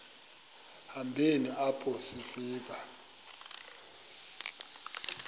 hambeni apho sifika